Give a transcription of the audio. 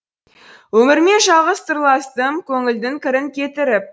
өмірмен жалғыз сырластым көңілдің кірін кетіріп